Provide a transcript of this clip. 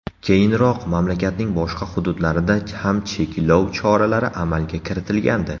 Keyinroq mamlakatning boshqa hududlarida ham cheklov choralari amalga kiritilgandi.